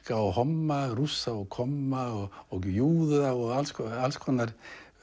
alka og homma Rússa og komma og júða og alls konar alls konar